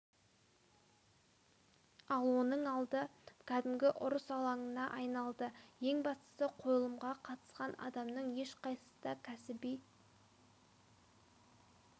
ал оның алды кәдімгі ұрыс алаңына айналды ең бастысы қойылымға қатысқан адамның ешқайсысы да кәсіби